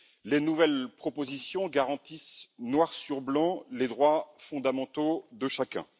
Les nouvelles propositions garantissent, noir sur blanc, les droits fondamentaux de chacun.